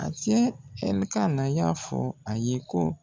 A cɛ ƐLIKANA y'a fɔ a ye ko.